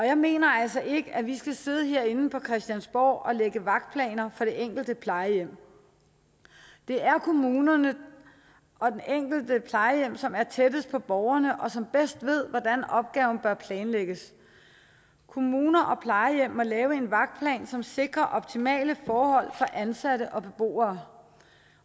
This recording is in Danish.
jeg mener altså ikke at vi skal sidde herinde på christiansborg og lægge vagtplaner for det enkelte plejehjem det er kommunerne og det enkelte plejehjem som er tættest på borgerne og som bedst ved hvordan opgaven bør planlægges kommuner og plejehjem må lave en vagtplan som sikrer optimale forhold for ansatte og beboere